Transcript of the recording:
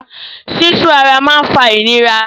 Sísu ara máa ń fa ìnira.